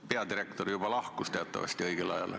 Peadirektor teatavasti juba lahkus õigel ajal.